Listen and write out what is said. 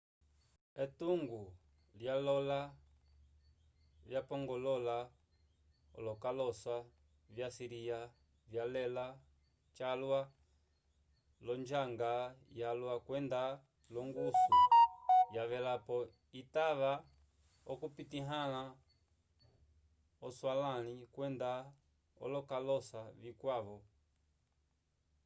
etungo lyalola vyapongolola olokalosa vyo assíria vyalela calwa l'onjanga yalwa kwenda l'ongusu yavelapo itava okupitahãla aswalãli kwenda olokalosa vikwavo